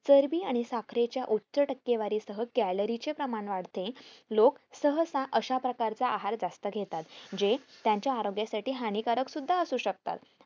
चरबी आणि साखरेच्या टक्केवारीसह calorie चे प्रमाण वाढते लोक सहसा अश्या प्रकारचा आहार जास्त घेतात जे त्यांच्या आरोग्यासाठी हानिकारक सुद्धा असू शकतात